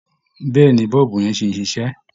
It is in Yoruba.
Bẹ́ẹ̀ ni, bọ́ọ̀bù yẹn sì ń ṣiṣẹ́